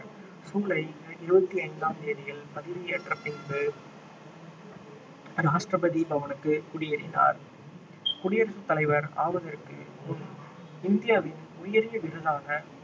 ஜூலை இருவத்தி ஐந்தாம் தேதியில் பதவியேற்ற பின்பு ராஷ்ட்ரபதி பவனுக்கு குடியேறினார் குடியரசுத் தலைவர் ஆவதற்கு முன் இந்தியாவின் உயரிய விருதான